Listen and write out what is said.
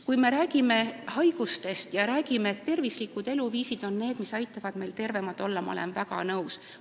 Kui me räägime, et tervislikud eluviisid aitavad meil tervemad olla, siis ma olen sellega väga nõus.